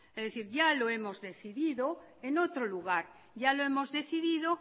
ya lo hemos decidido en otro lugar ya lo hemos decidido